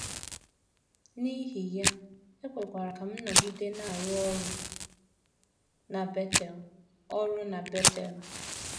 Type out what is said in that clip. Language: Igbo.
N’ihi ya, e kwere ka m nọgide na - arụ ọrụ na Betel ọrụ na Betel.